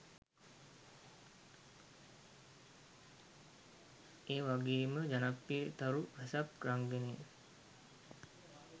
ඒ වගේම ජනප්‍රිය තරු රසක් රංගනයෙන්